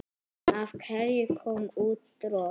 Af hverju kom út tromp?